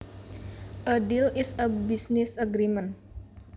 A deal is a business agreement